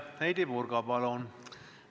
Heidy Purga, palun!